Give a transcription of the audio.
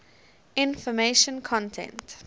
information content